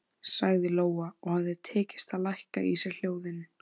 sagði Lóa og hafði tekist að lækka í sér hljóðin.